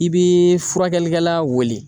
I bi furakɛlikɛla wele.